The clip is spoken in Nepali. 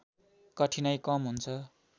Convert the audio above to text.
कठिनाइ कम हुन्छ